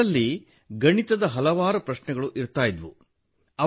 ಅದರಲ್ಲಿ ಗಣಿತದ ಹಲವಾರು ಪ್ರಶ್ನೆಗಳಿರುತ್ತಿದ್ದವು